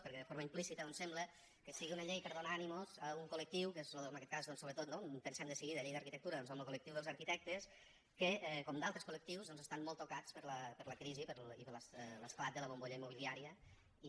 perquè de forma implícita doncs sembla que sigui una llei per donar ànims a un col·lectiu que és en aquest cas sobretot no hi pensem de seguida llei d’arquitectura doncs amb lo col·lectiu dels arquitectes que com d’altres col·lectius doncs estan molt tocats per la crisi i per l’esclat de la bombolla immobiliària i